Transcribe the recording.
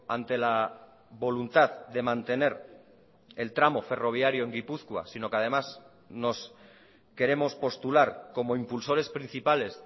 ante la voluntad de mantener el tramo ferroviario en gipuzkoa sino que además nos queremos postular como impulsores principales